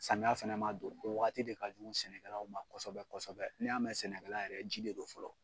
Samiya fana ma don o waati de ka jugu sɛnɛkɛla ma kosɛbɛ, n'i y'a mɛn sɛnɛkɛla yɛrɛ, ji de don fɔlɔ.